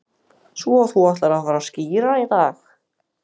Svo þú ætlar að fara að skíra í dag